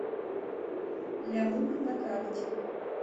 лямур на карте